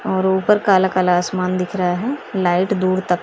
और ऊपर काला काला आसमान दिख रहा है लाइट दूर तक--